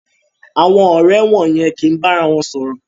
Àwọn ọrẹ wọ̀yen ki ba àrà wọn sọrọ